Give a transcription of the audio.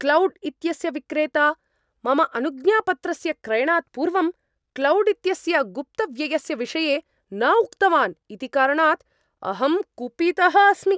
Cloud इत्यस्य विक्रेता मम अनुज्ञापत्रस्य क्रयणात् पूर्वं क्लौड् इत्यस्य गुप्तव्ययस्य विषये न उक्तवान् इति कारणात् अहं कुपितः अस्मि।